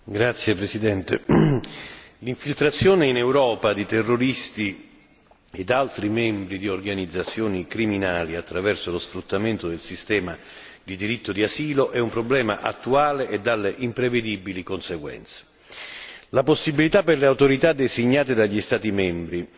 Signor Presidente, onorevoli colleghi, l'infiltrazione in Europa di terroristi ed altri membri di organizzazioni criminali attraverso lo sfruttamento del sistema di diritto di asilo è un problema attuale e dalle imprevedibili conseguenze. La possibilità per le autorità designate dagli Stati membri